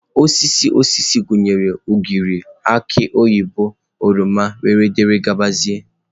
Osisi osisi gụnyere ugịrị, aki oyibo, oroma wdg.